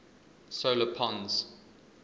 solar pons